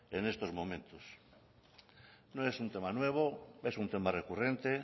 en estos momentos no es un tema nuevo es un tema recurrente